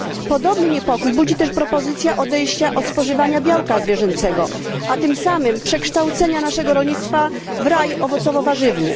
Podobny niepokój budzi też propozycja odejścia od spożywania białka zwierzęcego, a tym samym przekształcenia naszego rolnictwa w raj owocowo warzywny.